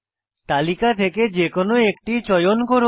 তালিকা থেকে যে কোনো একটি চয়ন করুন